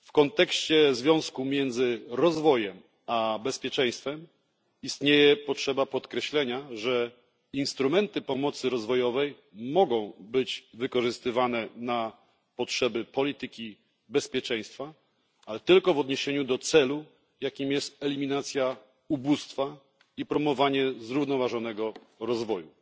Jeśli chodzi o związek między rozwojem a bezpieczeństwem, należy podkreślić, że instrumenty pomocy rozwojowej mogą być wykorzystywane na potrzeby polityki bezpieczeństwa, ale tylko w odniesieniu do celu, jakim jest eliminacja ubóstwa i wspieranie zrównoważonego rozwoju.